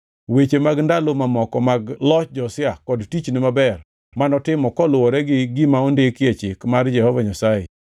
Weche mag ndalo mamoko mag loch Josia kod tichne maber manotimo koluwore gi gima ondiki e Chik mar Jehova Nyasaye,